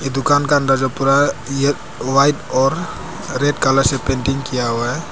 दुकान का अंदर जो पूरा व्हाइट और रेड कलर से पेंटिंग किया हुआ है।